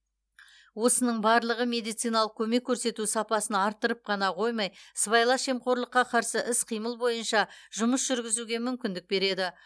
осының барлығы медициналық көмек көрсету сапасын арттырып қана қоймай сыбайлас жемқорлыққа қарсы іс қимыл бойынша жұмыс жүргізуге мүмкіндік береді